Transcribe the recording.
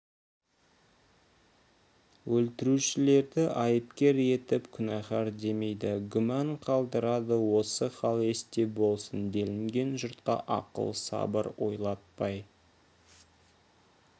өлтірушілерді айыпкер етіп күнәһар демейді гүмән қалдырады осы хал есте болсын делінген жұртқа ақыл сабыр ойлатпай